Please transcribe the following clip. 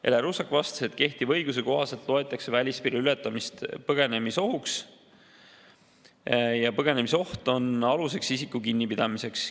Ele Russak vastas, et kehtiva õiguse kohaselt on välispiiri ületamise põgenemisohuga ja põgenemisoht on aluseks isiku kinnipidamiseks.